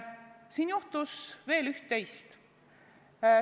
Siin juhtus veel üht-teist.